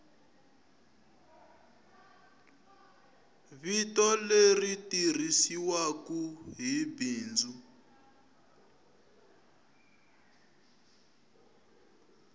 vito leri tirhisiwaku hi bindzu